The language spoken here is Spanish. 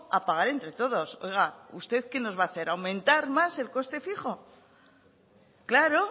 a pagar entre todos oiga usted que va a hacer aumentar más el coste fijo claro